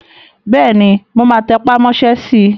Bẹ́ẹ̀ni, mo máa tẹpà mọ́ sẹ́ si